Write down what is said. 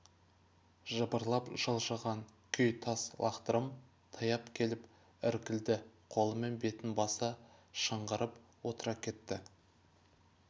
жыбырлап жылжыған күй тас лақтырым таяп келіп іркілді қолымен бетін баса шыңғырып отыра кетті